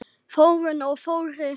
Þórunn og Þórir.